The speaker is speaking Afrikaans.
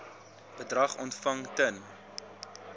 bedrag ontvang ten